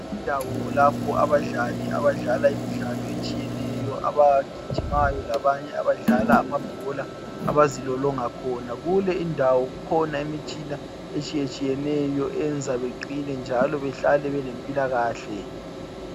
Indawo lapho abadlali abadlala imidlalo otshiyeneyo abagijimayo labanye abadlala amabhola abazilolonga khona kule indawo ikhona imitshina etshiyatshiyeneyo eyenza beqine njalo behlale belempilakahle